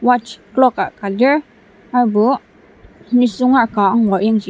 watch clock ah ka lir aserbo nisung ka angur yangji.